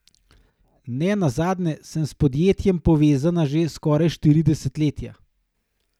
Ne nazadnje sem s podjetjem povezana že skoraj štiri desetletja.